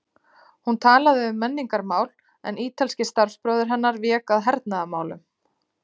Hún talaði um menningarmál, en ítalski starfsbróðir hennar vék að hernaðarmálum.